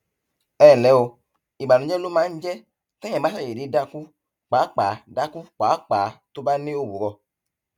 ẹ ǹlẹ o ìbànújẹ ló máa ń jẹ téèyàn bá ṣàdédé dákú pàápàá dákú pàápàá tó bá ní òwúrọ